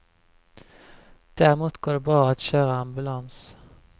Däremot går det bra att köra ambulans.